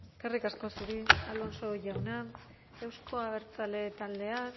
eskerrik asko zuri alonso jauna euzko abertzaleen taldea